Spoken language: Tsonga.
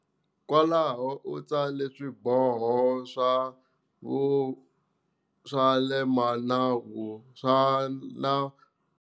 Kwalaho u tsale swiboho swa vu swa le manavu swa nawu.